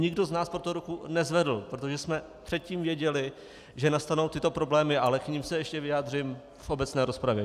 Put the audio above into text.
Nikdo z nás pro to ruku nezvedl, protože jsme předtím věděli, že nastanou tyto problémy, ale k nim se ještě vyjádřím v obecné rozpravě.